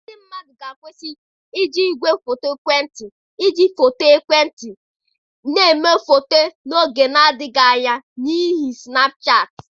Ndị mmadụ na-akwụsị iji igwefoto ekwentị nkịtị iji foto ekwentị ha eme foto n'oge adịghị anya, n'ihi snapu shaatị